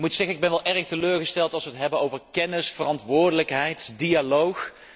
Ik moet zeggen dat ik wel erg teleurgesteld ben als wij het hebben over kennis, verantwoordelijkheid, dialoog.